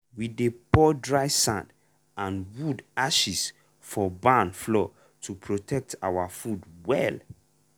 we dey pour dry sand and wood ashes for barn floor to protect our food well.